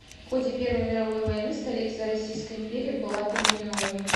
в ходе первой мировой войны столица российской империи была переименована